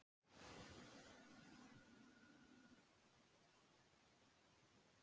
Reglum íþróttarinnar varð að breyta til að aðlaga hana að evrópskum hestum og aðstæðum.